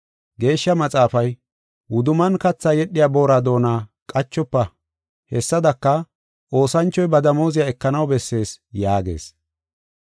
Geeshsha Maxaafay, “Wudumman kathaa yedhiya boora doona qachofa” hessadaka, “Oosanchoy ba damooziya ekanaw bessees” yaagees.